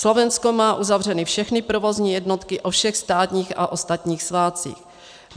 Slovensko má uzavřeny všechny provozní jednotky o všech státních a ostatních svátcích.